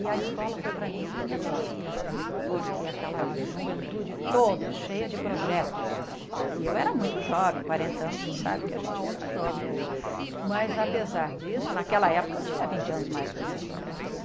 E a escola foi para mim a minha terapia, porque aquela juventude toda cheia de projetos, e eu era muito jovem, quarenta anos, você sabe que a gente é muito jovem ainda, mas apesar disso, naquela época eu tinha vinte anos mais que os meus colegas,